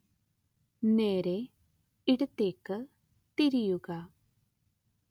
നേരെ ഇടത്തേക്ക് തിരിയുക